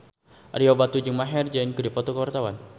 Ario Batu jeung Maher Zein keur dipoto ku wartawan